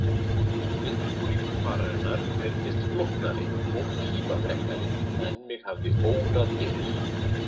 Undirbúningur fararinnar reyndist flóknari og tímafrekari en mig hafði órað fyrir.